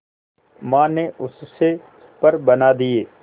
मां ने उससे पर बना दिए